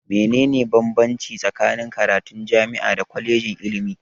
Me ne ne bambanci tsakanin karatun jami'a da kwalejin ilimi?